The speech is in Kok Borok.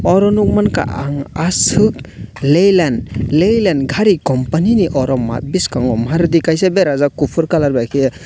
oro nukmankha ang ashok leyland leyland gari companynini biskango maruti gari berajak kuphuru colour bai khe.